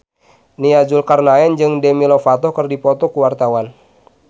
Nia Zulkarnaen jeung Demi Lovato keur dipoto ku wartawan